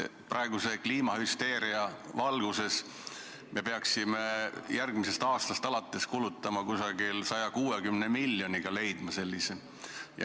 Praeguse kliimahüsteeria valguses me peaksime järgmisest aastast alates kulutama umbes 160 miljonit, leidma sellise summa.